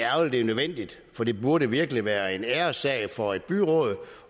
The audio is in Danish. at det er nødvendigt for det burde virkelig være en æressag for et byråd